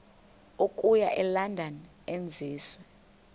okuya elondon enziwe